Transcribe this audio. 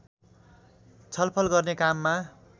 छलफल गर्ने काममा